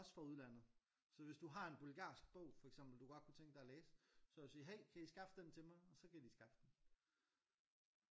Også fra udlandet. Så hvis du har en bulgarsk bog for eksempel du godt kunne tænke dig at læse så kan du sige hey kan i skaffe den til mig og så kan de skaffe den